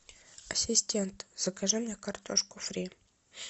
ассистент закажи мне картошку фри